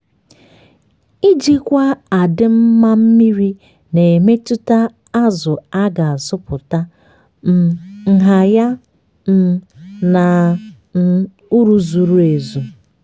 ijikwa adịm mma mmiri na-emetụta zụ a ga-azụpụta um nha ya um na um uru zuru ezu.